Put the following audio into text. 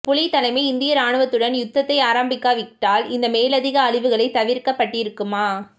புலித் தலைமை இந்திய ராணுவத்துடன் யுத்தத்தை ஆரம்பக்கா விட்டால் இந்த மேலதிக அழிவுகளை தவிர்க்கப்பட்டிருக்குமா